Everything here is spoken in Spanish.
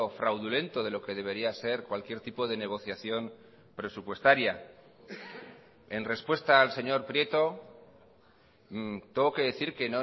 fraudulento de lo que debería ser cualquier tipo de negociación presupuestaria en respuesta al señor prieto tengo que decir que